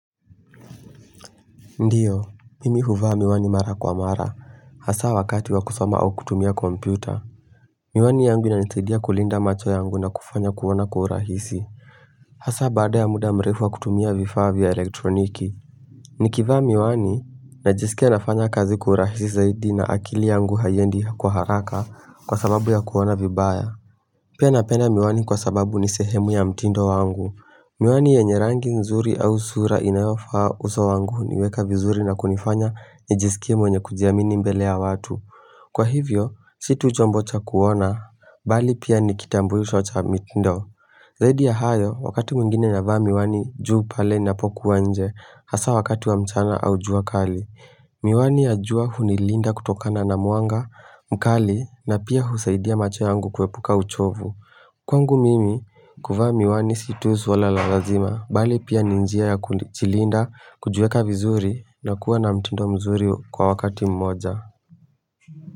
Ndiyo, mimi huvaa miwani mara kwa mara, hasaa wakati wa kusoma au kutumia kompyuta. Miwani yangu inanisaidia kulinda macho yangu na kufanya kuona kwa urahisi. Hasaa baada ya muda mrefu wa kutumia vifaa vya elektroniki. Nikivaa miwani, najisikia nafanya kazi kwa urahisi zaidi na akili yangu haiendi kwa haraka kwa sababu ya kuona vibaya. Pia napenda miwani kwa sababu ni sehemu ya mtindo wangu. Miwani yenye rangi nzuri au sura inayofaa uso wangu, huniweka vizuri na kunifanya nijisikie mwenye kujiamini mbele ya watu. Kwa hivyo, si tu jambo cha kuona, bali pia nikitambulisho cha mitindo. Zaidi ya hayo, wakati mwingine na vaa miwani juu pale ninapokuwa nje, hasaa wakati wa mchana au jua kali. Miwani ya jua hunilinda kutokana na mwanga mkali, na pia husaidia macho yangu kuepuka uchovu. Kwangu mimi kuvaa miwani si tu swala la lazima, bali pia ni njia ya kujilinda kujiweka vizuri na kuwa na mtindo mzuri kwa wakati mmoja.